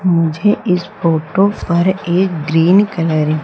मुझे इस फोटो पर एक ग्रीन कलर --